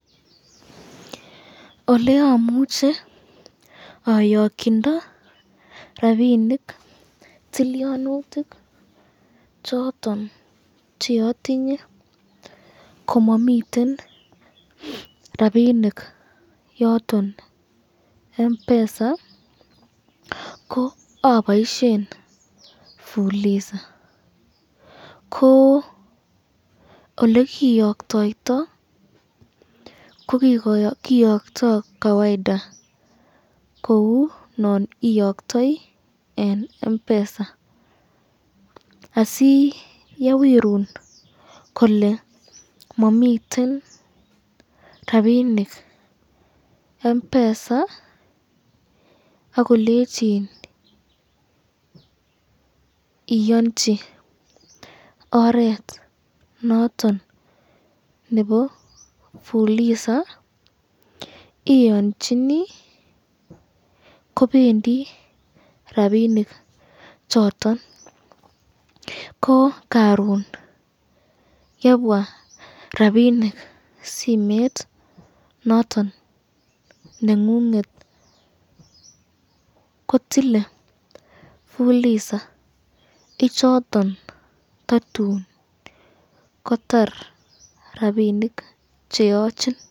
Oleamuche ayokyindo rapinik tilyonutik choton cheatinye komamiten ten rapinik yoton Mpesa, ko aboisyen fuloza, ko olekiyoktoto ko kiyokto kawaida kou non iyoktoi eng Mpesa asi yewirun kole mamiten rapinik Mpesa akolenchin iyonchi oret noton nebo fuliza iyonchini kobendi rapinik choton ,ko karon yebwa rapinik simet nengunget kotilen fuliza ichoton tatun kotar rapinik cheyochin.